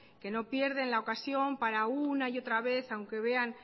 que no pierden la ocasión para una y otra vez aunque vean